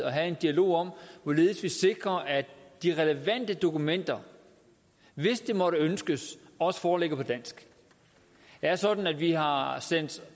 at have en dialog om hvorledes vi sikrer at de relevante dokumenter hvis det måtte ønskes også foreligger på dansk det er sådan at vi har har sendt